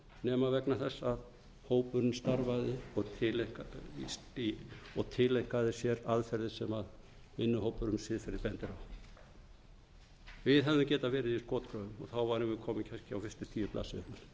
nema vegna þess að hópurinn starfaði og tileinkaði sér aðferðir sem vinnuhópur um siðferði bendir á við hefðum getað verið í skotgröfum og þá værum við komin kannski á fyrstu tíu blaðsíðurnar eða